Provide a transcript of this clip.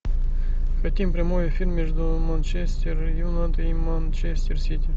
хотим прямой эфир между манчестер юнайтед и манчестер сити